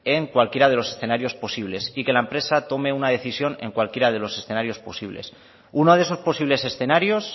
en cualquiera de los escenarios posibles y que en la empresa tome una decisión en cualquiera de los escenarios posibles uno de esos posibles escenarios